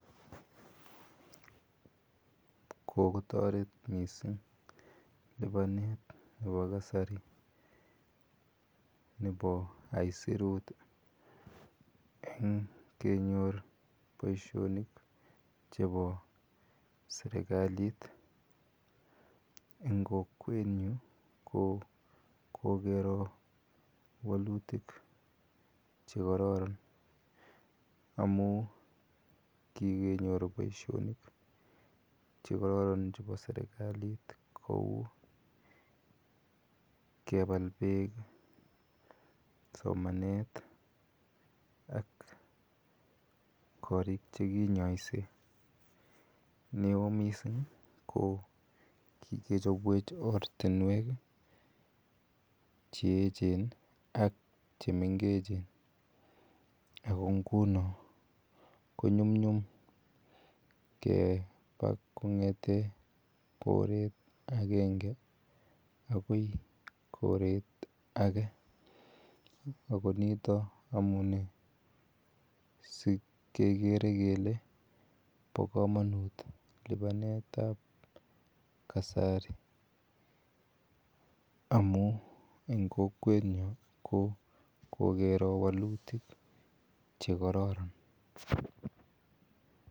Ko kotaret missing' lipanet nepo kasari nepo aisirut eng' kenyor poishonik chepo serkalit. Eng' kokwenyu ko kokero walutik che kararan amu kikeyoru poishonik che kararan chepa serkalit kou kepal eek,s omanet ak korik che kinyaise. Ne oo missing' kikechopwech ortinwek che echen ak che mengechen ako nguno ko nyumnyum kkepa kong'ete koreet agenge akoi koret age ako nitak amu nee si kekere kele pa kamanut lipanet ap kasari amu eng' kokwenya ko kokero walutik che kararan.